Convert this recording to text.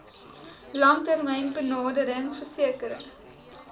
langtermyn benadering verseker